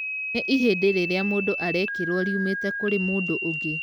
Nĩ ihĩndĩ rĩrĩa mũndũ arekĩrwo riumĩte kũrĩ mũndũ ũngĩ.